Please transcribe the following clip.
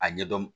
A ɲɛdɔn